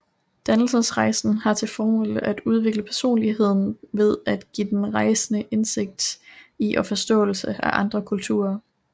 Dannelsesrejsen har til formål at udvikle personligheden ved at give den rejsende indsigt i og forståelse af andre kulturer